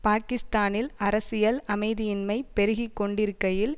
பாக்கிஸ்தானில் அரசியல் அமைதியின்மை பெருகி கொண்டிருக்கையில்